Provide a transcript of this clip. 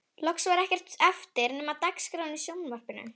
Loks var ekkert eftir nema dagskráin í sjónvarpinu